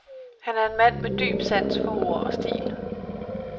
Han er en mand med dyb sans for ord og stil.